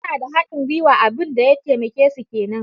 Suna da haɗin guiwa, abun da ya taimake su kenan.